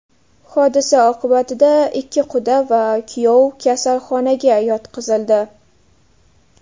Hodisa oqibatida ikki quda va kuyov kasalxonaga yotqizildi.